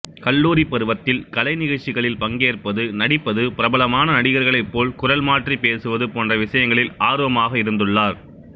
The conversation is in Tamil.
கல்லூரிப் பருவத்தில் கலைநிகழ்ச்சிகளில் பங்கேற்பது நடிப்பது பிரபலமான நடிகர்களைப் போல் குரல் மாற்றிப் பேசுவது போன்ற விசயங்களில் ஆர்வமாக இருந்துள்ளார்